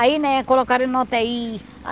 Aí, né, colocaram ele na u tê i.